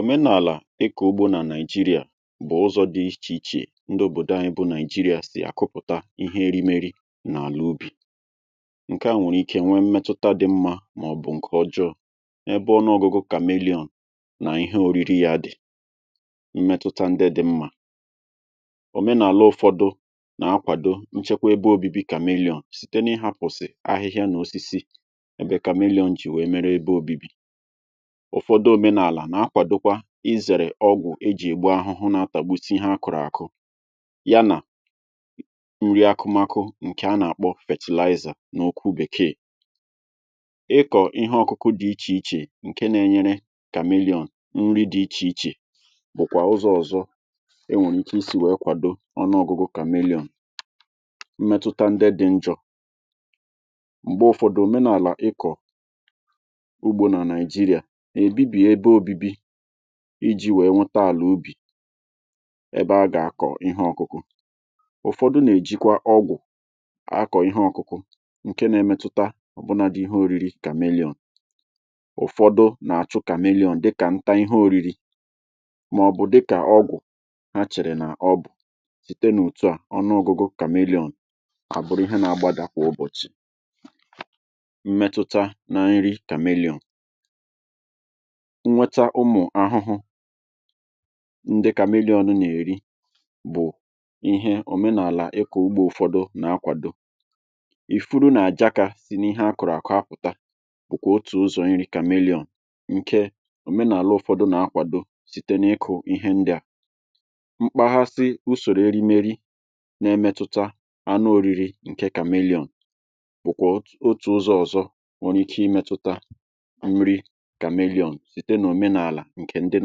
Omenàlà ịkò ugbȯ nà Nigeria bụ̀ ụzọ̇ dị̇ ichè ichè ndị òbòdò à bu Nigeria sì àkụpụ̀ta ihe erimeri n’àlà ubì, ǹke à nwèrè ike nwee mmetụta dị̇ mmȧ màọ̀bụ̀ ǹkè ọjọọ ebe ọnụȯgụ̀gụ̀ kamelọn nà ihe oriri yȧ dị̀. Mmetụta ndị dị̇ mmȧ; òmenàlà ụ̀fọdụ nà-akwàdo nchekwa ebe ȯbi̇bi̇ kamelọn site n’ịhȧpụ̀sị̀ ahịhịa nà osisi ebe kamelọn jì wèe mere ebe ȯbi̇bi̇. Ufọdụ òmenàlà nà-akwàdokwa izèrè ọgwụ̀ e jì ègbu ahụhụ na-atà gbute ihe akụ̀rụ̀ àkụ ya nà nri akụmakụ ǹkè a nà-àkpọ fertilizer n’okwu bèkeè, ịkọ̀ ihe ọ̀kụkụ dị ichè ichè ǹke na-enyere kàmeliọ̀n nri dị ichè ichè bụ̀kwà ụzọ̇ ọ̀zọ e nwèrè ike isi wèe kwàdo ọnụ ọ̀gụgụ́ kàmeliọ̀n. Mmetụta ndị dị njọ, m̀gbe ụfọdụ òmenàlà ịkọ̀ ugbo na Nigeria ebibie ebe ȯbi̇bi̇ iji̇ wèe nwete àlà ubì ebe a gà-àkọ̀ ihe ọ̇kụ̇kụ̇, ụ̀fọdụ nà-èjikwa ọgwụ̀ akọ̀ ihe ọ̇kụ̇kụ̇ ǹke nȧ-emetụta ọ̀bụna dị ihe ȯri̇ri̇ kàmeliȯn, ụ̀fọdụ nà-àchụ kameliȯn dịkà nta ihe ȯriri̇ màọ̀bụ̀ dịkà ọgwụ̀ ha chèrè nà ọbụ̀, site n’òtu à, ọnụȯgụ̀gụ́ kàmeliȯn àbụrụ ihe na-agbada kwà ụbọ̀chị̀. Mmetụta na nri kàmeliȯn, nnweta ụmụ̀ ahụhụ ndị kameliọn nà-èri bụ̀ ihe òmenàlà ịkọ̀ ugbȧ ụ̀fọdụ nà-akwàdo, ìfuru nà-àjàkà sì n’ihe a kụ̀rụ̀ àkụ apụ̀ta bụ̀kwà otù ụzọ̀ nri kàmeliọ̀n ǹke òmenàlà ụ̀fọdụ nà-akwàdo site n’ịkụ̇ ihe ndị̇à, mkpaghasị usòrò erimeri na-emetụta anụ oriri nke kàmeliȯn bụ̀kwà otù ụzọ̀ ọ̀zọ nwere ike imetụta nri kàmeliọ̀n site n'omenaala nke ndị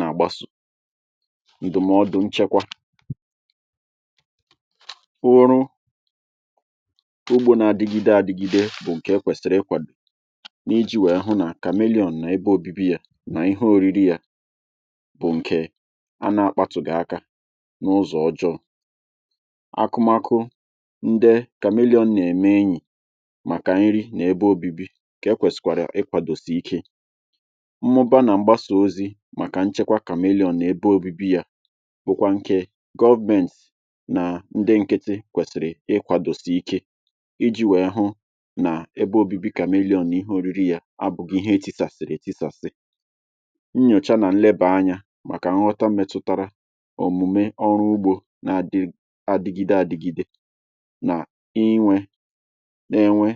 na-agbaso. Ndụ̀mọdụ nchekwa bụụrụ ụgbọ n'adigide adịgide bụ nke e kwesịrị ikwado na iji wee fụ na kàmeliọ̀n nà ebe obibi yȧ, na ihe oriri ya bụ nke ana-akpataghi aka n'ụzọ ọjọọ, ákụmakụ ndị kàmeliọ̀n na-eme enyi maka nri na ebe obibi ka kwesịkwara ikwadosi ike. Mụbaa na mgbasa ozi maka nchekwa kamelion na ebe obibi ya, bụkwa nke government na ndị nkịtị kwesịrị ikwadosi ike iji̇ wèe hụ nà ebe obibi kàmelion nà ihe oriri yȧ abụ̇ghị ihe nke eti̇sàsị̀rị̀ ètisàsị. Nnyòcha nà nlebà anya màkà nghọta metụtara òmùme ọrụ ugbȯ na adịgide adịgide nà inwė na-enwe.